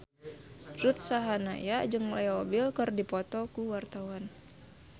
Ruth Sahanaya jeung Leo Bill keur dipoto ku wartawan